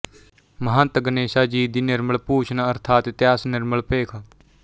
ਮਹੰਤ ਗਣੇਸ਼ਾ ਜੀ ਦੀ ਨਿਰਮਲ ਭੂਸ਼ਣ ਅਰਥਾਤ ਇਤਿਹਾਸ ਨਿਰਮਲ ਭੇਖ